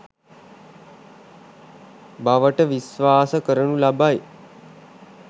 බවට විශ්වාස කරනු ලබයි.